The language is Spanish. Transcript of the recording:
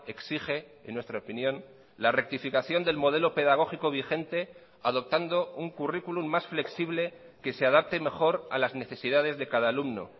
exige en nuestra opinión la rectificación del modelo pedagógico vigente adoptando un currículum más flexible que se adapte mejor a las necesidades de cada alumno